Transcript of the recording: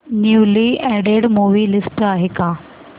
newly added movie list आहे का